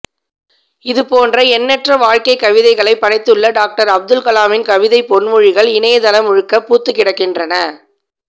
இது போன்ற எண்ணற்ற வாழ்க்கை கவிதைகளை படைத்துள்ள டாக்டர் அப்துல் கலாமின் கவிதைப் பொன்மொழிகள் இணையதளம் முழுக்க பூத்துக் கிடக்கின்றன